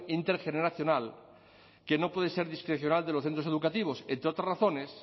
intergeneracional que no puede ser discrecional de los centros educativos entre otras razones